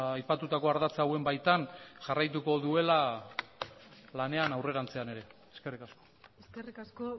aipatutako ardatza hauen baitan jarraituko duela lanean aurrerantzean ere eskerrik asko eskerrik asko